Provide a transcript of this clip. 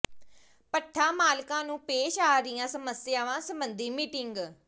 ਭੱਠਾ ਮਾਲਕਾਂ ਨੂੰ ਪੇਸ਼ ਆ ਰਹੀਆਂ ਸਮੱਸਿਆਵਾਂ ਸਬੰਧੀ ਮੀਟਿੰਗ